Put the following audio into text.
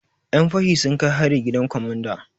Yan fashi sun kai hari gidan komanda.